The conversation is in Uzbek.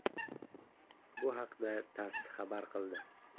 Bu haqda TASS xabar qildi .